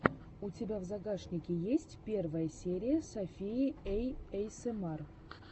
у тебя в загашнике есть первая серия софии эйэсэмар